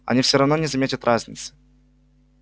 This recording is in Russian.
они всё-равно не заметят разниц